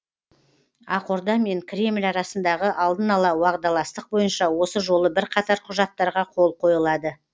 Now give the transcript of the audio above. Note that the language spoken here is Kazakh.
ақорда мен кремль арасындағы алдын ала уағдаластық бойынша осы жолы бірқатар құжаттарға қол қойылады